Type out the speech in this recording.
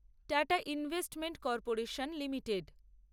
tata investment corporation limited